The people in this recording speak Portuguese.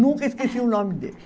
Nunca esqueci o nome dele.